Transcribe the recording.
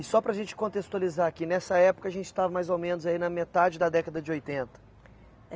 E só para a gente contextualizar aqui, nessa época a gente estava mais ou menos aí na metade da década de oitenta? É